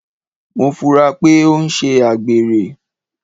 Mo funra pé o n sé àgbèrè